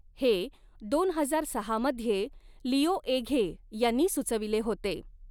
हे दोन हजार सहा मध्ये लिओ एघे यांनी सुचविले होते.